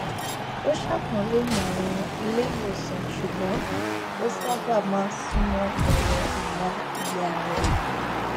ó ṣàpọnlé ìmọràn ilé ìwòsàn ṣùgbọn ó sábà má n súnmọ ẹrọ ìyá ìyá rẹ